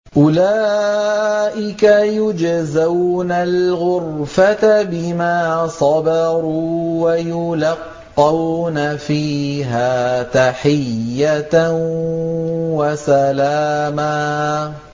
أُولَٰئِكَ يُجْزَوْنَ الْغُرْفَةَ بِمَا صَبَرُوا وَيُلَقَّوْنَ فِيهَا تَحِيَّةً وَسَلَامًا